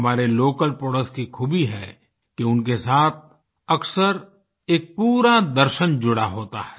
हमारे local products की खूबी है कि उनके साथ अक्सर एक पूरा दर्शन जुड़ा होता है